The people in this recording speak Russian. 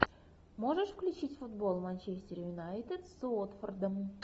можешь включить футбол манчестер юнайтед с уотфордом